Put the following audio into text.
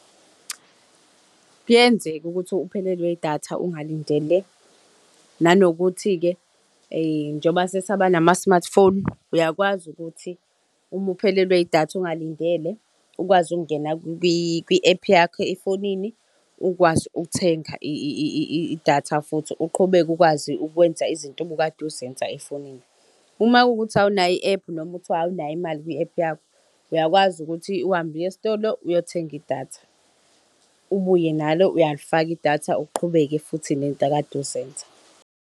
Kuyenzeka ukuthi uphelelwe idatha ungalindele. Nanokuthi-ke njengoba sesaba nama-smartphone, uyakwazi ukuthi uma uphelelwe idatha ungalindele ukwazi ukungena kwi-ephu yakho efonini, ukwazi ukuthenga idatha futhi uqhubeke ukwazi ukwenza izinto obukade uzenza efonini. Uma kuwukuthi awunayo i-ephu noma kuthiwa awunayo imali kwi-ephu yakho, uyakwazi ukuthi uhambe uye esitolo uyothenga idatha, ubuye nalo uyalifaka idatha uqhubeke futhi ney'nto okade uzenza.